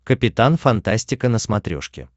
капитан фантастика на смотрешке